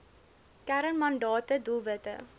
kern mandate doelwitte